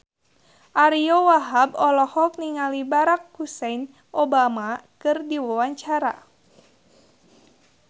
Ariyo Wahab olohok ningali Barack Hussein Obama keur diwawancara